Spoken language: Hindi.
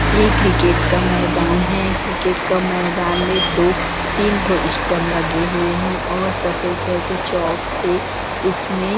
ये क्रिकेट का मैदान है क्रिकेट का मैदान में दो तीन ठो इस्टम लगे हुए है और सफ़ेद रंग के चोक से उसमें--